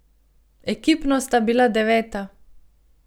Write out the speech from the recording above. Ekipno sta bila deveta.